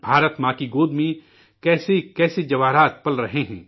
بھارت ماں کی گود میں، کیسے کیسے رتن پل رہے ہیں